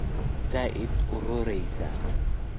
Bisha zaid uunuureysa.